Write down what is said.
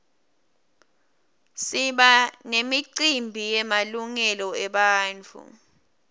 siba nemicimbi yemalungelo ebantfu